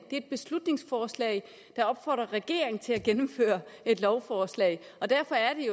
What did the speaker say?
et beslutningsforslag i til at gennemføre et lovforslag derfor er